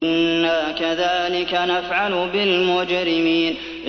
إِنَّا كَذَٰلِكَ نَفْعَلُ بِالْمُجْرِمِينَ